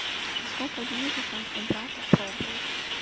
а сколько дней ты там у брата пробыл